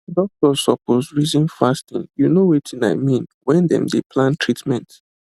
doctors suppose reason fasting you know wetin i mean when dem dey plan treatment